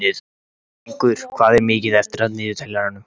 Blængur, hvað er mikið eftir af niðurteljaranum?